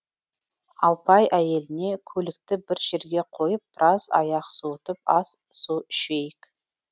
алпай әйеліне көлікті бір жерге қойып біраз аяқ суытып ас су ішейік